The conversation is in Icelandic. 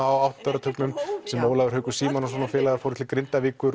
á áttunda áratugnum sem Ólafur Haukur Símonarson og félagar fóru til Grindavíkur